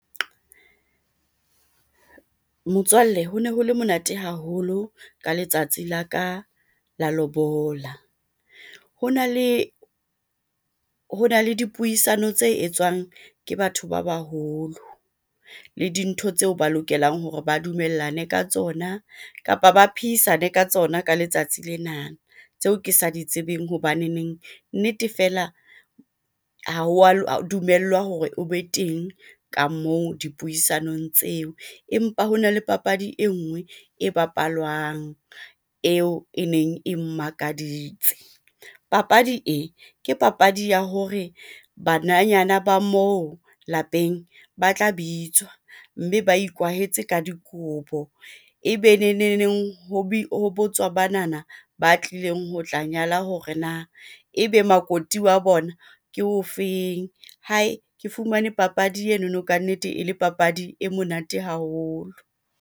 Motswalle ho ne ho le monate haholo ka letsatsi la ka la lobola. Ho na le dipuisano tse etswang ke batho ba baholo le dintho tseo ba lokelang hore ba dumellane ka tsona kapa ba phehisane ka tsona ka letsatsi lena. Tseo ke sa di tsebeng hobaneneng nnete fela ha wa dumellwa hore o be teng ka moo dipuisanong tseo. Empa ho na le papadi e nngwe e bapalwang eo e neng e mmakaditse. Papadi e ke papadi ya hore bananyana ba mo lapeng ba tla bitswa mme ba ikwahetse ka dikobo, ebe neneng ho botswa banana ba tlileng ho tla nyala hore na ebe makoti wa bona ke o feng. Hae ke fumane papadi enono, kannete e le papadi e monate haholo.